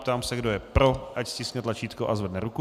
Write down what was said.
Ptám se, kdo je pro, ať stiskne tlačítko a zvedne ruku.